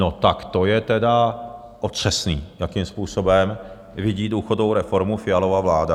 No tak to je tedy otřesné, jakým způsobem vidí důchodovou reformu Fialova vláda!